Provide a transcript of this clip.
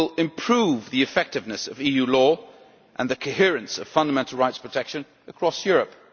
It will improve the effectiveness of EU law and the coherence of fundamental rights protection across Europe.